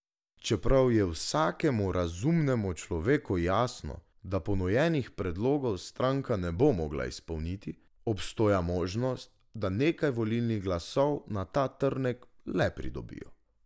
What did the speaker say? Čeprav je vsakemu razumnemu človeku jasno, da ponujenih predlogov stranka ne bo mogla izpolniti, obstoja možnost, da nekaj volilnih glasov na ta trnek le pridobijo.